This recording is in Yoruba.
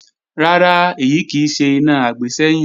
Rárá, èyí kì í ṣe iná àgbésẹ́yìn